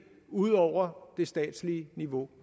ud over det statslige niveau